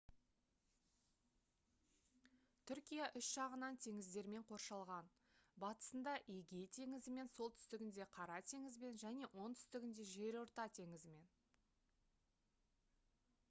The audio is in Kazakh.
түркия үш жағынан теңіздермен қоршалған батысында эгей теңізімен солтүстігінде қара теңізбен және оңтүстігінде жерорта теңізімен